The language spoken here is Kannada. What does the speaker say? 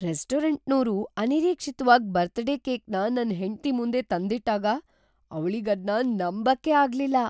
ರೆಸ್ಟೋರಂಟ್ನೋರು ಅನಿರೀಕ್ಷಿತ್ವಾಗಿ ಬರ್ತ್‌ಡೇ ಕೇಕ್‌ನ ನನ್‌ ಹೆಂಡ್ತಿ ಮುಂದೆ ತಂದಿಟ್ಟಾಗ ಅವ್ಳಿಗದ್ನ ನಂಬಕ್ಕೇ ಆಗ್ಲಿಲ್ಲ.